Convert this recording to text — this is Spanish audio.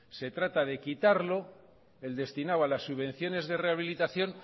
se trata de quitarlo el destinado a las subvenciones de rehabilitación